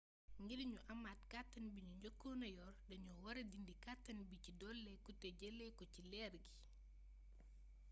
ngir ñu amaat kàttan bi ñu njëkoon yor dañu wara dindi kàttan bi ci dolliku te ñu jëlee ko ci leer gi